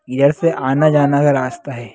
यहां से आना जाना का रस्ता है।